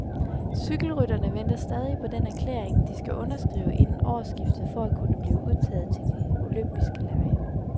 Cykelrytterne venter stadig på den erklæring, de skal underskrive inden årsskiftet for at kunne blive udtaget til de olympiske lege.